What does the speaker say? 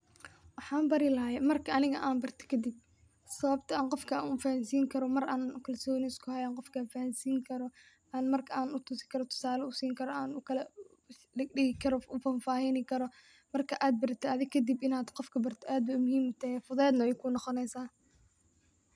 Waxan barilahay marki ani anbarta kadip sababto ah qofka anfahansinkaro marka kalsoni iskuhayo an qofka fahansinkaro, an mark an utusikaro tusalo u sinkaro, an ukaladigdigikaro,u fafahinikaro, marka adbaratit athi kadip inad qofka bartit adbay muhim ute fudedna waykuqonoeysa.